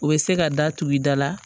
U bɛ se ka da tugu i da la